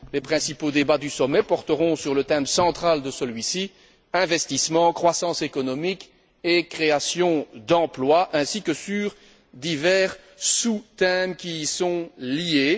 Les principaux débats du sommet porteront sur le thème central de celui ci investissement, croissance économique et création d'emplois, ainsi que sur divers sous thèmes qui y sont liés.